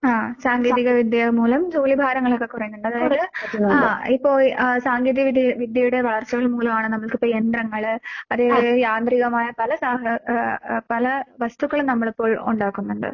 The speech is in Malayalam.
ആഹ് സാങ്കേതിക വിദ്യകൾ മൂലം ജോലിഭാരങ്ങളൊക്കെ കുറയുന്നൊണ്ട്. അതായത് ആഹ് ഇപ്പൊ ആഹ് സാങ്കേതിക വിദ്യ വിദ്യയുടെ വളർച്ചകൾ മൂലവാണ് നമ്മൾക്കിപ്പെ യന്ത്രങ്ങള് അതേപോലെ യാത്രികമായ പല സാഹ ആഹ് അഹ് പല വസ്തുക്കളും നമ്മളിപ്പോൾ ഒണ്ടാക്കുന്ന്ണ്ട്.